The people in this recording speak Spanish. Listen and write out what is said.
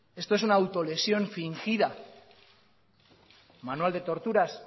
esto es una autolesión fingida manual de torturas